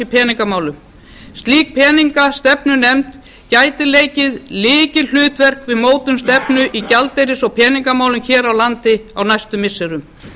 í peningamálum slík peningastefnunefnd gæti leikið lykilhlutverk við mótun stefnu í gjaldeyris og peningamálum hér á landi á næstu missirum